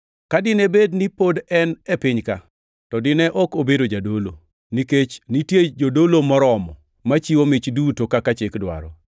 Ka dine bed ni pod en e piny ka, to dine ok obedo jadolo, nikech nitie jodolo moromo machiwo mich duto kaka chik dwaro.